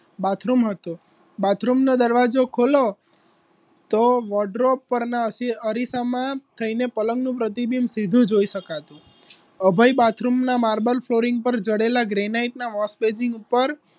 bathroom હતું bathroom નો દરવાજો ખોલો તો વોટ ડ્રોપ પરના અરીસામાં થઈને પલંગનું પ્રતિબિંબ સીધું જોઈ શકાતું અભય bathroom ના માર્બલ flooring પર જડેલા ગ્રેનાઇટના wash basin ઉપર